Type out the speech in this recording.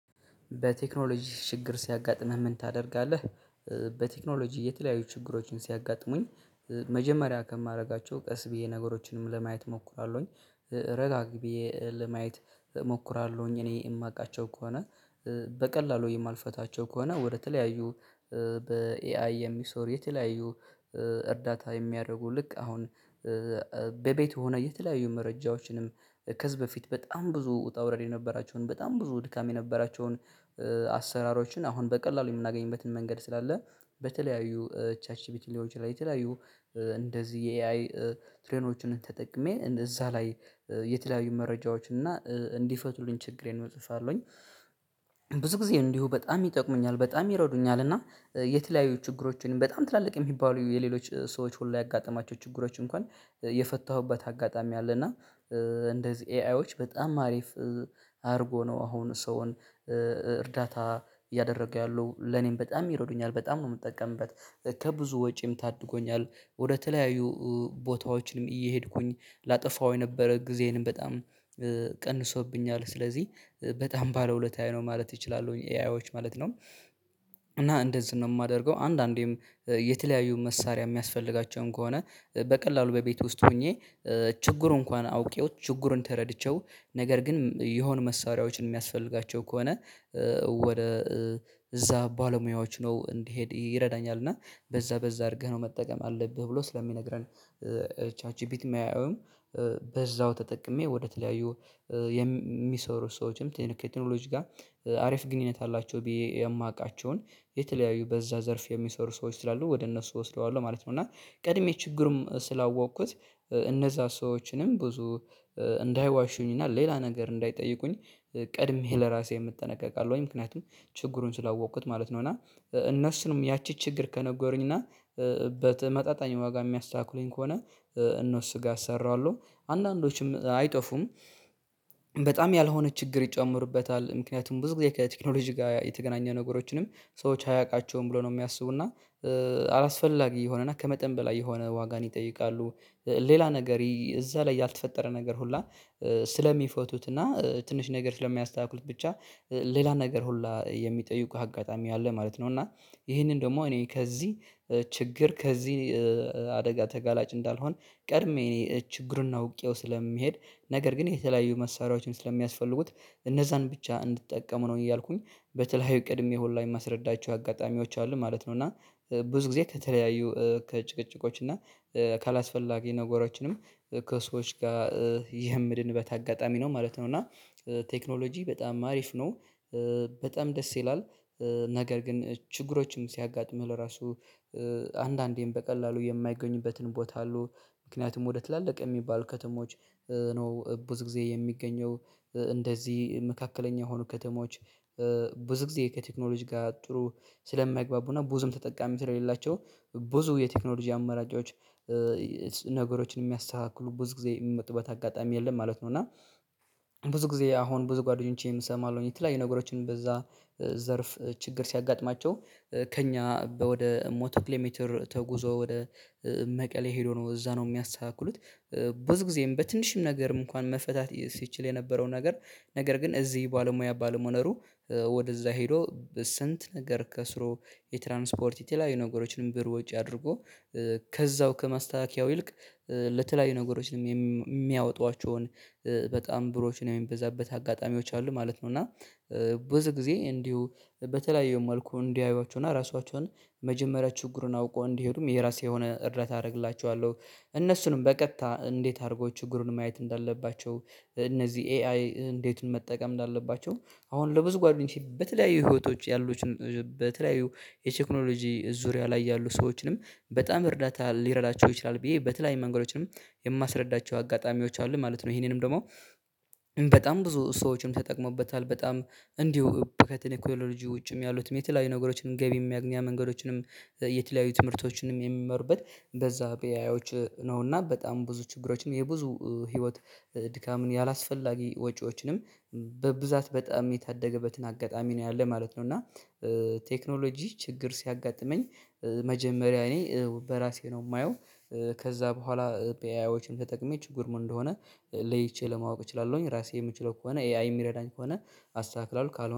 በቴክኖሎጂ ችግር ሲያጋጥምህ ምን ታደርጋለህ? በቴክኖሎጂ የተለያዩ ችግሮችን ሲያጋጥሙኝ መጀመሪያ ከማድረጋቸው ቀስ ብዬ ነገሮችንም ለማየት እሞክራለሁኝ። ረጋ ብዬ ለማየት እሞክራለሁኝ እኔ የማውቃቸው ከሆነ። በቀላሉ የማልፈታቸው ከሆነ ወደተለያዩ በኤአይ የሚሰሩ የተለያዩ እርዳታ የሚያደርጉ ልክ አሁን በቤት ሆነ የተለያዩ መረጃዎችንም ከዚህ በፊት በጣም ብዙ ውጣ ውረድ የነበራቸውን በጣም ብዙ ድካም የነበራቸውን አሰራሮችን አሁን በቀላሉ የምናገኝበትን መንገድ ስላለ በተለያዩ ቻት ጂፒቲ ሊሆን ይችላል። የተለያዩ እንደዚህ የኤአይ ትሬኖችንን ተጠቅሜ እዛ ላይ የተለያዩ መረጃዎች እና እንዲፈቱልኝ ችግሬን እጽፋለሁኝ። ብዙ ጊዜ ነው እንዲሁ በጣም ይጠቅሙኛል በጣም ይረዱኛል እና የተለያዩ ችግሮችን በጣም ትላልቅ የሚባሉ የሌሎች ሰዎች ሁሉ ያጋጠማቸው ችግሮች እንኳን የፈታሁበት አጋጣሚ አለ። እና እንደዚህ ኤአይዎች በጣም አሪፍ አድርጎ ነው አሁን ሰውን እርዳታ እያደረገ ያለው ለኔም በጣም ይረዱኛል በጣም ነው የምጠቀምበት። ከብዙ ወጪም ታድጎኛል ወደተለያዩ ቦታዎችንም እየሄድኩኝ ላጠፋው የነበረ ጊዜንም በጣም ቀንሶብኛል። ስለዚህ በጣም ባለ ውለታየ ነው ማለት እችላለሁኝ ኤአዮች ማለት ነው። እና እንደዚህ ነው የማደርገው አንዳንዴም የተለያዩ መሳሪያ የሚያስፈልጋቸውም ከሆነ በቀላሉ በቤት ውስጥ ሆኜ ችግሩ እንኳን አውቄው ችግሩን ተረድቼው ነገር ግን የሆኑ መሳሪያዎችን የሚያስፈልጋቸው ከሆነ ወደ እዛ ባለሙያዎች ነው እንዲሄድ ይረዳኛል። እና በዛ በዛ አድርገህ ነው መጠቀም አለብህ ብሎ ስለሚነግረን። ቻች ጂፒቲም ኤአይዩም በዛው ተጠቅሜ ወደተለያዩ የሚሰሩ ሰዎችም ትን ከቴክኖሎጂ ጋር አሪፍ ግንኙነት አላቸው የማውቃቸውን የተለያዩ በዛ ዘርፍ የሚሰሩ ሰዎች ስላሉ ወደ እነሱ እወስደዋለሁ ማለት ነው። እና ቀድሜ ችግርም ስላወቅኩት እነዛ ሰዎችንም ብዙ እንዳይዋሹኝ እና ሌላ ነገር እንዳይጠይቁኝ ቀድሜ ለራሴም እጠነቀቃለሁኝ ምክንያቱም ችግሩን ስላወቅኩት ማለት ነው። እና እነሱንም ያቺ ችግር ከነጎሩኝ እና በመጣጣኝ ዋጋ የሚያስተካክሉኝ ከሆነ እነሱ ጋ አሰራዋለሁ አንዳንዶቹም አይጠፉም። መጣም ያልሆነ ችግር ይጨምሩበታል ምክንያቱም ብዙ ጊዜ ከቴክኖሎጂ ጋር የተገናኘ ነገሮችንም ሰዎች አያውቃቸውም ብሎ ነው የሚያስቡና አላስፈላጊ የሆነና ከመጠን በላይ የሆነ ዋጋን ይጠይቃሉ። ሌላ ነገር እዛ ላይ ያልተፈጠረ ነገር ሁላ ስለሚፈቱት እና ትንሽ ነገር ስለሚያስተካክሉት ብቻ ሌላ ነገር ሁላ የሚጠይቁህ አጋጣሚ አለ ማለት ነው። እና ይሄንን ደግሞ እኔ ከዚህ ችግር ከዚህ አደጋ ተጋላጭ እንዳልሆን ቀድሜ እኔ ችግሩን ነው አውቄው ስለምሄድ ነገር ግን የተለያዩ መሳሪያዎችን ስለሚያስፈልጉት እነዛን ብቻ እንድትጠቀሙ ነው እያልኩኝ በተለያዩ ቅድሜ ሁላ የማስረዳቸው አጋጣሚዎች አሉ ማለት ነው። እና ብዙ ጊዜ ከተለያዩ ከጭቅጭቆች እና ካላስፈላጊ ነገሮችንም ከሰዎች ጋር የምድንበት አጋጣሚ ነው ማለት ነው። እና ቴክኖሎጂ በጣም አሪፍ ነው በጣም ደስ ይላል። ነገር ግን ችግሮችም ሲያጋጥምህ ለራሱ አንዳንዴም በቀላሉ የማይገኝበትን ቦታ አሉ ምክንያቱም ወደ ትላልቅ የሚባል ከተሞች ነው ብዙ ጊዜ የሚገኘው። እንደዚህ መካከለኛ የሆኑ ከተሞች ብዙ ጊዜ ከቴክኖሎጂ ጋር ጥሩ ስለማይግባቡና ብዙም ተጠቃሚ ስለሌላቸው ብዙ የቴክኖሎጂ አመራጮች ነገሮችን የሚያስተካክሉ ብዙ ጊዜ የሚመጡ በተጋጣሚ የለም ማለት ነው። እና ብዙ ጊዜ አሁን ብዙ ጓደኞቼም እሰማለሁኝ የተለያዩ ነገሮችን በዛ ዘርፍ ችግር ሲያጋጥማቸው ከእኛ ወደ ሞቶ ኪሎ ሜትር ተጉዞ ወደ መቀሌ ሄዶ ነው እዛ ነው የሚያስተካክሉት። ብዙ ጊዜም በትንሽም ነገር እንኳን መፈታት ሲችል የነበረውን ነገር ነገር ግን እዚህ ባለሙያ ባለመኖሩ ነው ወደዛ ሄዶ ስንት ነገር ከስሮ የትራንስፖርት የተለያዩ ነገሮችንም ብር ውጪ አድርጎ ከዛው ከማስተካከያው ይልቅ ለተለያዩ ነገሮችንም የሚያወጧቸውን በጣም ብሮችን የሚበዛበት አጋጣሚዎች አሉ ማለት ነው። እና ብዙ ጊዜ እንዲሁ በተለያዩ መልኩ እንዲያዩዋቸው እና ራሷቸውን መጀመሪያ ችግሩን አውቆ እንዲሄዱም የራሴ የሆነ እርዳታ አደርግላቸዋለሁ። እነሱንም በቀጥታ እንዴት አድርጎ ችግሩን ማየት እንዳለባቸው? እነዚህ ኤአይ እንዴት መጠቀም እንዳለባቸው? አሁን ለብዙ ጓደኞቼ በተለያዩ ህይወቶች ያሉትን በተለያዩ የቴክኖሎጂ ዙሪያ ላይ ያሉ ሰዎችንም በጣም እርዳታ ሊረዳቸው ይችላል ብዬ በተለያዩ መንገዶችንም የማስረዳቸው አጋጣሚዎች አሉ ማለት ነው። ይሄንንም ደግሞ በጣም ብዙ ሰዎችንም ተጠቅመውበታል በጣም እንዲሁ ከተኔ ኮሎጂ ውጭም ያሉትን የተለያዩ ነገሮችንም ገቢም የሚያገኛ መንገዶችንም የተለያዩ ትምህርቶችንም የሚመሩበት በዛ በኤአዮች ነውና በጣም ብዙ ችግሮችም የብዙ ህይወት ድካምን ያላስፈላጊ ወጪዎችንም በብዛት በጣም የታደገበትን አጋጣሚ ነው ያለው ማለት ነው። እና ቴክኖሎጂ ችግር ሲያጋጥመኝ መጀመሪያ እኔ በራሴ ነው የማየው። ከዛ በኋላ በኤአይዎችም ተጠቅሜ ችግር ምን እንደሆነ ለይቼ ለማወቅ እችላለሁኝ። ራሴ የምችለው ከሆነ ኤአይ የሚረዳኝ ከሆነ አስተካክላለሁ። ካል